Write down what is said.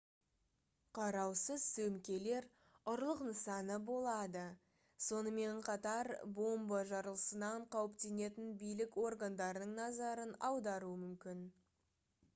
қараусыз сөмкелер ұрлық нысаны болады сонымен қатар бомба жарылысынан қауіптенетін билік органдарының назарын аударуы мүмкін